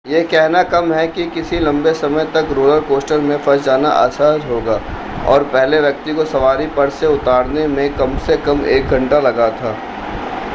यह कहना कम है कि किसी लंबे समय तक रोलर कॉस्टर में फंस जाना असहज होगा और पहले व्यक्ति को सवारी पर से उतारने में कम से कम एक घंटा लगा था